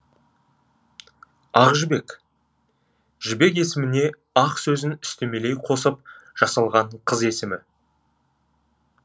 ақжібек жібек есіміне ақ сөзін үстемелей қосып жасалған кыз есімі